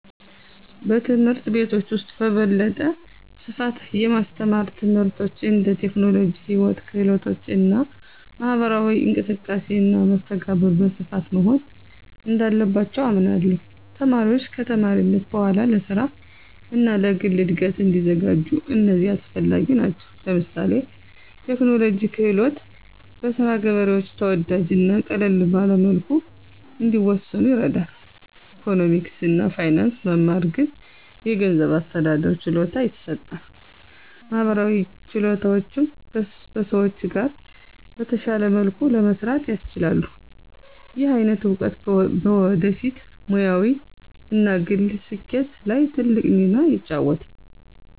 በትምህርት ቤቶች ውስጥ በበለጠ ስፋት የማስተማር ትምህርቶች እንደ ቴክኖሎጂ፣ ሕይወት ክህሎቶች እና ማህበራዊ እንቅስቃሴ እና መስተጋብር በስፋት መሆን እንዳለባቸው አምናለሁ። ተማሪዎች ከተማሪነት በኋላ ለስራ እና ለግል እድገት እንዲዘጋጁ እነዚህ አስፈላጊ ናቸው። ለምሳሌ ቴክኖሎጂ ክህሎት በስራ ገበሬዎች ተወዳጅ እና ቀለል ባለ መልኩ እንዲሰኑ ይረዳል፣ ኢኮኖሚክስ እና ፋይናንስ መማር ግን የገንዘብ አስተዳደር ችሎታ ይሰጣል፣ ማህበራዊ ችሎታዎችም በሰዎች ጋር በተሻለ መልኩ ለመስራት ያስችላሉ። ይህ አይነት እውቀት በወደፊት ሙያዊ እና ግል ስኬት ላይ ትልቅ ሚና ይጫወታል።